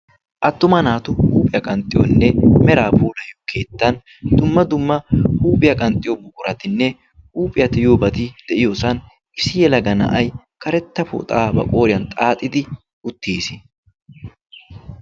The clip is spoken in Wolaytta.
Attuma naatu huuphiyaa qanxxiyoonne meraa puulayyo keettan dumma dumma huuphiyaa qanxxiyo buquratinne huuphiyaa ti yuubati de'iyoosan issi yelaga na'ay karetta pooxaa ba qooriyan xaaxidi uttiis.